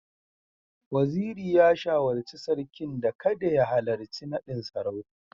Waziri ya shawarci Sarkin da kada ya halarci nadin sarauta